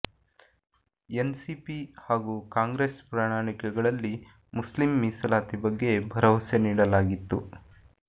N C P ಹಾಗೂ ಕಾಂಗ್ರೆಸ್ ಪ್ರಣಾಳಿಕೆಗಳಲ್ಲಿ Muslim ಮೀಸಲಾತಿ ಬಗ್ಗೆ ಭರವಸೆ ನೀಡಲಾಗಿತ್ತು